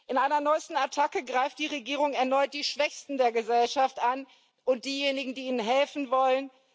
In einer neuesten Attacke greift die Regierung erneut die Schwächsten der Gesellschaft an und diejenigen, die ihnen helfen wollen.